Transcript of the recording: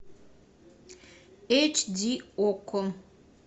эйч ди окко